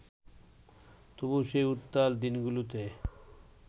তবু সেই উত্তাল দিনগুলোতে